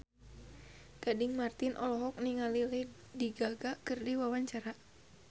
Gading Marten olohok ningali Lady Gaga keur diwawancara